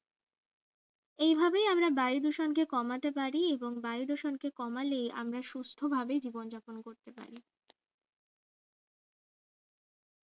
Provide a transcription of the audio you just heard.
এই ভাবেই আমরা বায়ু দূষণকে কমাতে পারি এবং বায়ু দূষণকে কমালে আমরা সুস্থভাবে জীবন যাপন করতে পারি